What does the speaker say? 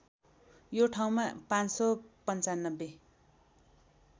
यो ठाउँमा ५९५